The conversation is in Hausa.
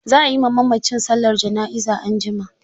Za a yi ma mamacin sallar jana'iza anjima.